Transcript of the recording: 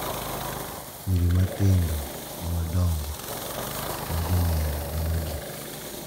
Nyiri matindo gi madongo ma jomiel gin adi?